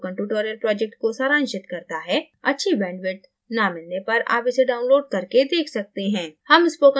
यह video spoken tutorial project को सारांशित करता है